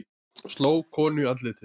Sló konu í andlitið